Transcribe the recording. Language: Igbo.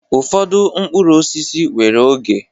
Ụfọdụ mkpụrụ osisi nwere oge.